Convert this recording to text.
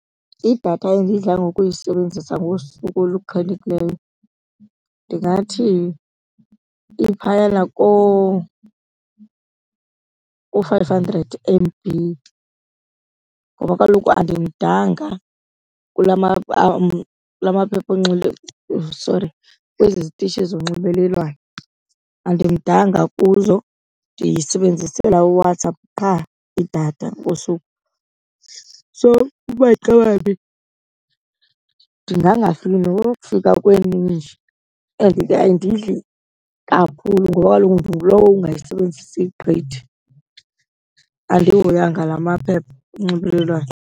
Idatha endidla ngokulisebenzisa ngosuku oluqhelekileyo ndingathi iphayana ku-five hundred M_B ngoba kaloku andimdanga kula , kula maphepha , sorry kwezi zitishi zonxibelelwano. Andimdanga kuzo, ndiyisebenzisela uWhatsApp qha idatha ngosuku. So umaxawambi ndingangafiki nokufika kweeninji and ke ayindidli kakhulu ngoba kaloku ndingulowo ungayisebenzisi gqithi, andihoyanga la maphepha onxibelelwano.